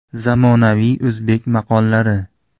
Zamonaviy o‘zbek maqollari.